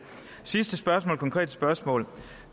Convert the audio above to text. sidste konkrete spørgsmål